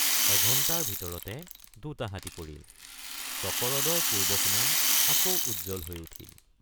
এঘণ্টাৰ ভিতৰতে দুটা হাতী পৰিল চকৰদৰ পূৰ্ব সুনাম আকৌ উজ্জ্বল হৈ উঠিল।